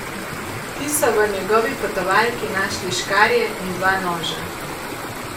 Ti so v njegovi potovalki našli škarje in dva noža.